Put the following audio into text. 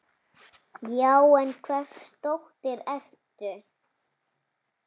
Já, en hvers dóttir ertu.?